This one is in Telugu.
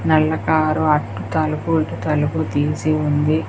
నల్ల కారు అద్దాలు పూర్తి తలుపు తీసి ఉంది.